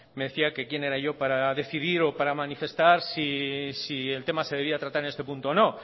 me decía que quién era yo para decidir o para manifestar si el tema se debía tratar en este punto o no